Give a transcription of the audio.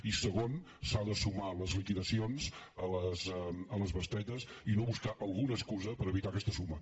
i segon s’han de sumar les liquida cions a les bestretes i no buscar alguna excusa per evitar aquesta suma